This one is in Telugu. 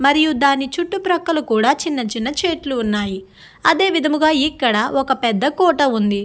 మరియు దాని చుట్టూ పక్కల కూడా చిన్న చిన్న చెట్లు ఉన్నాయి అదే విధముగా ఇక్కడ పెద్ద కోట ఉంది.